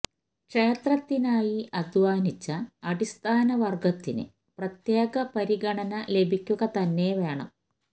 ക്ഷേത്രത്തിനായി അധ്വാനിച്ച അടിസ്ഥാന വര്ഗത്തിന് പ്രത്യേക പരിഗണന ലഭിക്കുക തന്നെ വേണം